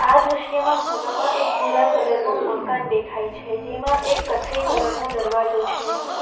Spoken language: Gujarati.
આ દ્રશ્યમાં ખૂણામાં એક ભૂરા કલર નું મકાન દેખાય છે જેમાં એક કથ્થઈ કલર નો દરવાજો છે.